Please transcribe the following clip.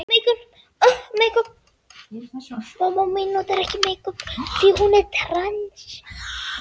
Þeir heyrðu köllin í mæðrum sínum enduróma um allt.